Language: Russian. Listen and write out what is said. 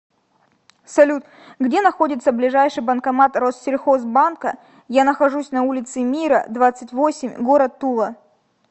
салют где находится ближайший банкомат россельхоз банка я нахожусь на улице мира двадцать восемь город тула